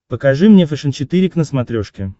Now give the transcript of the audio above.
покажи мне фэшен четыре к на смотрешке